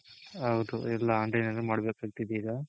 ಹೌದು ಎಲ್ಲ online ಅಲ್ಲೇ ಮಾಡಬೇಕಂತಿದೆ ಈಗ